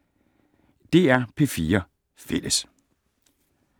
DR P4 Fælles